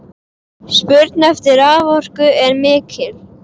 Spurn eftir raforku er mikil.